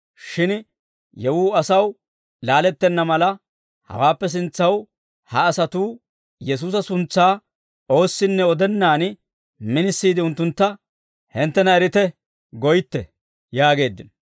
Shin yewuu asaw laalettenna mala, hawaappe sintsaw ha asatuu Yesuusa suntsaa oossinne odennaadan, minisiide unttuntta, ‹Hinttena erite› goytte» yaageeddino.